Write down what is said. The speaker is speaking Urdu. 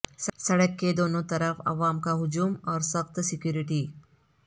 سڑک کے دونوں طرف عوام کا ہجوم اور سخت سیکوریٹی